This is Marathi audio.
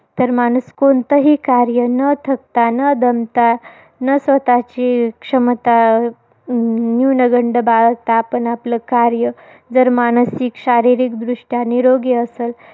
तर माणूस कोणतही कार्य, न थकता, न दमता, न स्वतःची क्षमता अं न्यूनगंड बाळगता आपण आपलं कार्य, जर मानसिक शारीरिकदृष्ट्या निरोगी असल